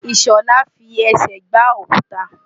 Ìṣọ̀lá fi ẹsẹ̀ gbá òkuta.